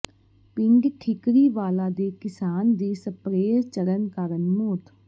ਪਿੰਡ ਠੀਕਰੀਵਾਲਾ ਦੇ ਕਿਸਾਨ ਦੀ ਸਪਰੇਅ ਚੜ੍ਹਨ ਕਾਰਨ ਮੌਤ